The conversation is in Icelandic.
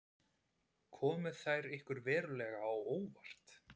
Komu þær ykkur verulega á óvart?